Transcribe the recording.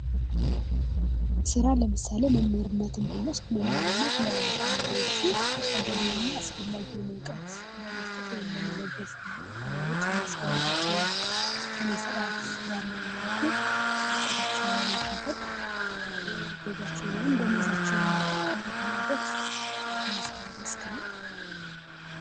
ሥራ ለምሳሌ መምህርነትን ብንወስድ መምህርነት ለተማሪዎቹ ተገቢና አስፈላጊ የሆኑ እውቀት በመስጠት ወይም በመለገስ ለተማሪዎች የሚያስፈልጋቸውን ሥነ ሥርዓት ባለው መልኩ ዕውቀታቸውን ማካፈል የወር ገቢያቸውን ደሞዛቸውን የሚያገኙበትአንዱ የሥራ መስክ ነው።